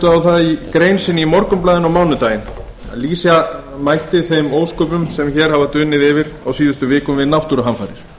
á það í grein sinni í morgunblaðinu á mánudaginn að lýsa mætti þeim ósköpum sem hér hafa dunið yfir á síðustu vikum við náttúruhamfarir